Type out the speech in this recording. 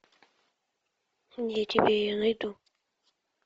я тебе ее найду